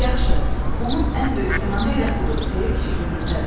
“Yaxşı, onun ən böyük günahı elə budur,” deyə kişi gülümsədi.